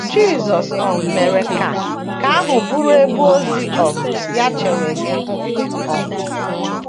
Jisọs um mere ka nke ahụ bụrụ ebe ozi um ya chewere ihu. um